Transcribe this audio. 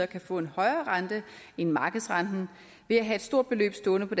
kan få en højere rente end markedsrenten ved at have et stort beløb stående på